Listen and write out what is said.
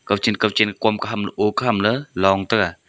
kawchen kawchen kom khamle o khamle long tega.